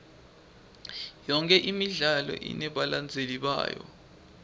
yonke imidlalo inebalandzeli bayo